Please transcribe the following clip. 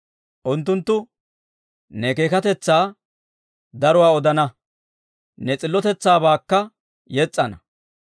Unttunttu ne keekkatetsaa daruwaa odana; ne s'illotetsaabaakka yes's'ana.